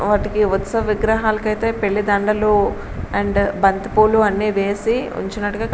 వాటికి ఉత్సవ విగరాహాల కైతే పెళ్లి దండలు బంతిపూలు అండ్ అన్నీ వేసి ఉంచినట్టుగా కని --